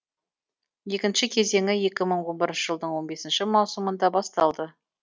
екінші кезеңі екі мың он бірінші жылдың он бесінші маусымында басталды